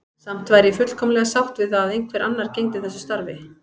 Samt væri ég fullkomlega sátt við að einhver annar gegndi þessu starfi.